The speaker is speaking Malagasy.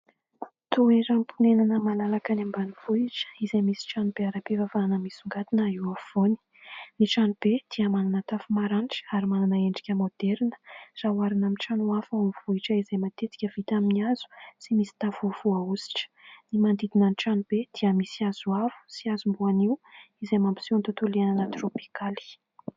Toeramponenana malalaka any ambanivohitra izay misy trano be ara-pivavahana misongadina eo avovoany. Ny trano be dia manana tafo maranitra ary manana endrika moderina raha hoarina amin'ny trano hafa ao amin'ny vohitra, izay matetika vita amin'ny hazo sy misy tafo voahositra. Ny manodidina ny trano be dia misy hazo avo sy hazom-boanio izay mampiseo ny tontolo iainana tropikaly.